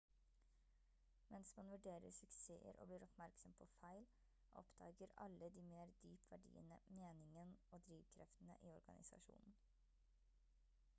mens man vurderer suksesser og blir oppmerksom på feil oppdager alle de mer dyp verdiene meningen og drivkreftene i organisasjonen